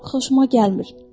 Xoşuma gəlmir.